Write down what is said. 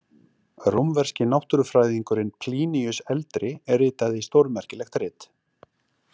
Rómverski náttúrufræðingurinn Pliníus eldri ritaði stórmerkilegt rit.